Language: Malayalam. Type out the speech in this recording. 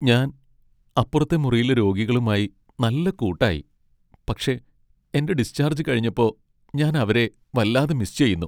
ഞാൻ അപ്പുറത്തെ മുറിയിലെ രോഗികളുമായി നല്ല കൂട്ടായി, പക്ഷെ എന്റെ ഡിസ്ചാർജ് കഴിഞ്ഞപ്പൊ ഞാൻ അവരെ വല്ലാതെ മിസ്സ് ചെയ്യുന്നു.